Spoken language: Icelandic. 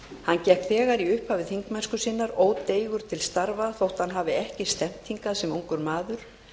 hann gekk þegar í upphafi þingmennsku sinnar ódeigur til starfa þótt hann hafi ekki stefnt hingað sem ungur maður